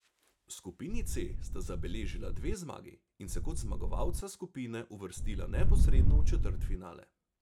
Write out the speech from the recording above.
V skupini C sta zabeležila dve zmagi in se kot zmagovalca skupine uvrstila neposredno v četrtfinale.